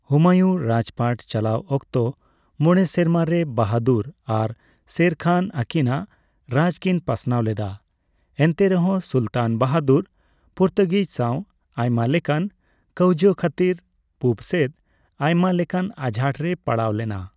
ᱦᱩᱢᱟᱭᱩᱱ ᱨᱟᱡᱽᱯᱟᱴ ᱪᱟᱞᱟᱣ ᱚᱠᱛᱚ ᱢᱚᱬᱮ ᱥᱮᱨᱢᱟ ᱨᱮ ᱵᱟᱦᱟᱫᱩᱨ ᱟᱨ ᱥᱮᱨ ᱠᱷᱟᱱ ᱟᱠᱤᱱᱟᱜ ᱨᱟᱡᱽᱠᱤᱱ ᱯᱟᱥᱱᱟᱣ ᱞᱮᱫᱟ ᱾ ᱮᱱᱛᱮ ᱨᱮᱦᱚᱸ ᱥᱩᱞᱛᱟᱱ ᱵᱟᱦᱟᱫᱩᱨ ᱯᱚᱨᱛᱩᱜᱤᱡᱽ ᱥᱟᱣ ᱟᱭᱢᱟ ᱞᱮᱠᱟᱱ ᱠᱟᱹᱣᱡᱟᱹ ᱠᱷᱟᱛᱤᱨ ᱯᱩᱵ ᱥᱮᱫ ᱟᱭᱢᱟ ᱞᱮᱠᱟᱱ ᱟᱡᱷᱟᱴ ᱨᱮᱭ ᱯᱟᱲᱟᱣ ᱞᱮᱱᱟ ᱾